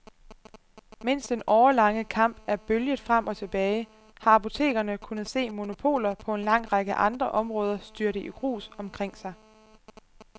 Mens den årelange kamp er bølget frem og tilbage, har apotekerne kunnet se monopoler på en lang række andre områder styrte i grus omkring sig.